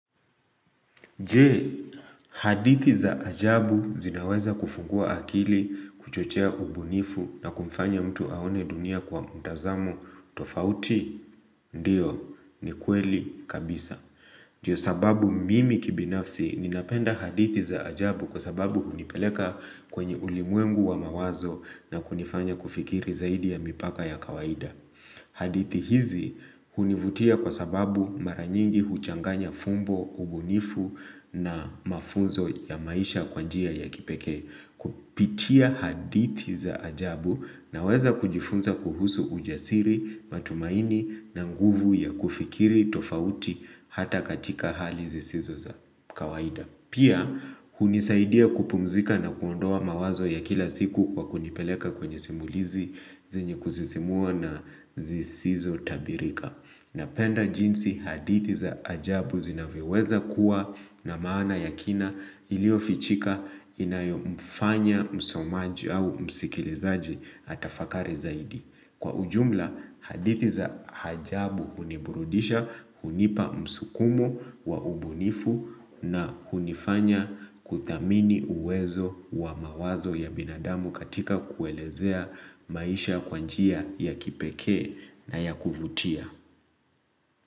Je, hadithi za ajabu zinaweza kufungua akili kuchochea ubunifu na kumfanya mtu aone dunia kwa mtazamo tofauti, ndio, ni kweli kabisa. Je, sababu mimi kibinafsi ninapenda hadithi za ajabu kwa sababu hunipeleka kwenye ulimwengu wa mawazo na kunifanya kufikiri zaidi ya mipaka ya kawaida. Hadithi hizi hunivutia kwa sababu maranyingi huchanganya fumbo, ubunifu na mafunzo ya maisha kwa njia ya kipekee kupitia hadithi za ajabu naweza kujifunza kuhusu ujasiri, matumaini na nguvu ya kufikiri, tofauti hata katika hali zisizo za kawaida. Pia, hunisaidia kupumzika na kuondoa mawazo ya kila siku kwa kunipeleka kwenye simulizi, zenye kusisimua na zisizo tabirika. Napenda jinsi hadithi za ajabu zinavyoweza kuwa na maana yakina ilio fichika inayo mfanya msomaji au msikilizaji atafakari zaidi. Kwa ujumla, hadithi za hajabu uniburudisha, unipa msukumo wa ubunifu na unifanya kuthamini uwezo wa mawazo ya binadamu katika kuelezea maisha kwa njia ya kipekee na ya kuvutia.